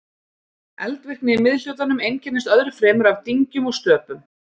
eldvirkni í miðhlutanum einkennist öðru fremur af dyngjum og stöpum